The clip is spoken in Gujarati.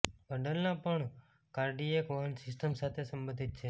બંડલના પગ કાર્ડિયક વહન સિસ્ટમ સાથે સંબંધિત છે